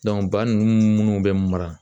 ba ninnu mun bɛ mara